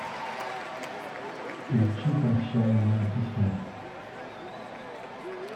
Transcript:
включи прощальное письмо